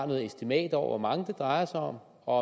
noget estimat over hvor mange det drejer sig om og